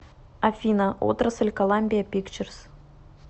афина отрасль коламбия пикчерс